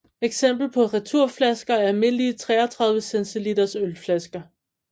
Eksempler på returflasker er almindelige 33 cl ølflasker